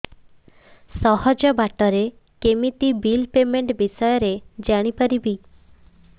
ସହଜ ବାଟ ରେ କେମିତି ବିଲ୍ ପେମେଣ୍ଟ ବିଷୟ ରେ ଜାଣି ପାରିବି